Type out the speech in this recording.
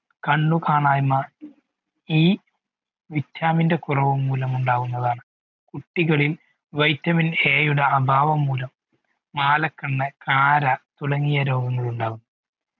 കണ്ണു കാണായിമ ഈ vitamin ഇൻ്റെ കുറവ് മൂലം ഉണ്ടാകുന്നതാണ് കുട്ടികളിൽ vitamin A അഭാവം മൂലം മാലകണ്ണ് കാര തുടങ്ങിയ രോഗങ്ങളുണ്ടാകും